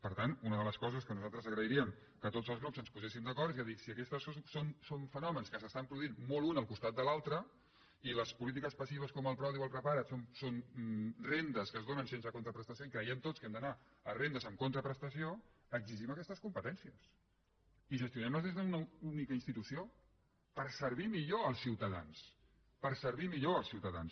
per tant una de les coses que nosaltres agrairíem que tots els grups ens poséssim d’acord és a dir si aquests són fenòmens que s’estan produint molt un al costat de l’altre i les polítiques passives com el prodi o el prepara’t són rendes que es donen sense contraprestació i creiem tots que hem d’anar a rendes amb contraprestació exigim aquestes competències i gestionem les des d’una única institució per servir millor els ciutadans per servir millor els ciutadans